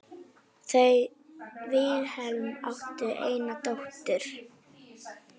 Þau Vilhelm áttu eina dóttur.